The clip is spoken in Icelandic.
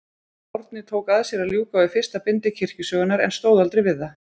Árni tók að sér að ljúka við fyrsta bindi kirkjusögunnar, en stóð aldrei við það.